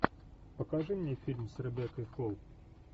покажи мне фильм с ребеккой холл